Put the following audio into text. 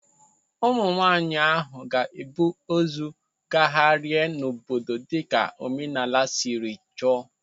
Ụmụ nwaanyị ahụ ga-ebu ozu gagharia n'obodo dịka omenala siri chọọ.